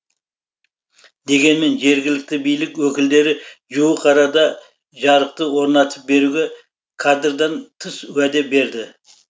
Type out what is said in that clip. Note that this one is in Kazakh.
дегенмен жергілікті билік өкілдері жуық арада жарықты орнатып беруге кадрдан тыс уәде берді